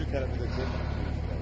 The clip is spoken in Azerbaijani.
Sürücü tərəfi də çək.